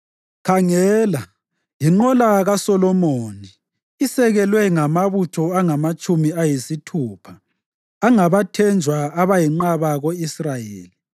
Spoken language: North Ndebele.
Khangela! Yinqola kaSolomoni, isekelwe ngamabutho angamatshumi ayisithupha, angabathenjwa abayinqaba ko-Israyeli,